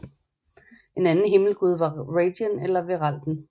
En anden himmelgud var Radien eller Vearalden